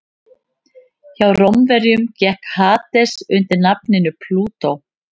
hjá rómverjum gekk hades undir nafninu plútó